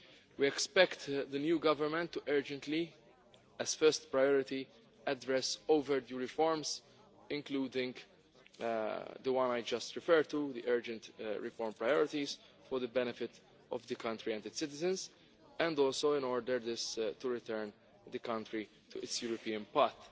We expect the new government to urgently, as a first priority, address overdue reforms, including the one I just referred to the urgent reform priorities for the benefit of the country and its citizens, and also in order to return the country to its European path.